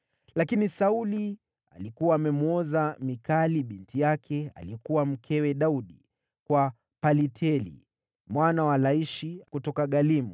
Lakini Sauli alikuwa amemwoza Mikali binti yake, aliyekuwa mkewe Daudi, kwa Palti mwana wa Laishi, kutoka Galimu.